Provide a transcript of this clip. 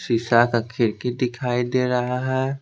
शीशा का खिड़की दिखाई दे रहा है।